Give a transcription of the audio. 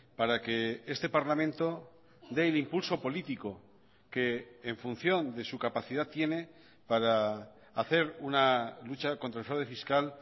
para que este parlamento dé el impulso político que en función de su capacidad tiene para hacer una lucha contra el fraude fiscal